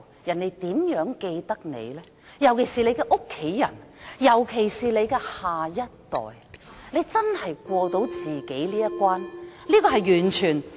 尤其是家人，尤其是自己的下一代，大家真的能過到自己的一關嗎？